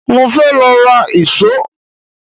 Mo fẹ́ lọ ra ìṣó